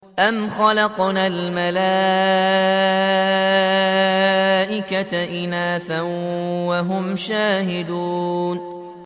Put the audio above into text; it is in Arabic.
أَمْ خَلَقْنَا الْمَلَائِكَةَ إِنَاثًا وَهُمْ شَاهِدُونَ